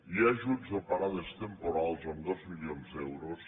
hi ha ajuts a parades temporals amb dos milions d’euros